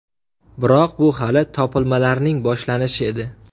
Biroq bu hali topilmalarning boshlanishi edi.